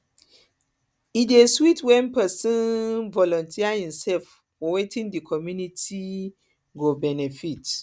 e dey sweet when pesin um volunteer himself for wetin di community um go benefit